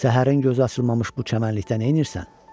Səhərin gözü açılmamış bu çəmənlikdə neynirsən?